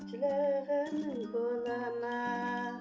жылағаның болады ма